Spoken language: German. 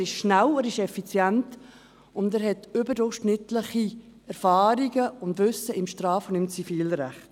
Er ist schnell, er ist effizient, und er hat überdurchschnittliche Erfahrungen sowie Wissen im Straf- und im Zivilrecht.